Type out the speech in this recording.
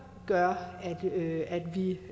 gør